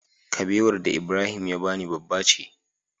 Kabewar da Ibrahim ya bani babba ce